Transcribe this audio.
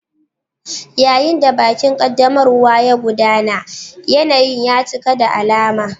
Yayin da bikin ƙaddamarwa ya gudana, yanayin ya cika da alama.